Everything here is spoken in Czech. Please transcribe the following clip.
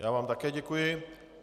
Já vám také děkuji.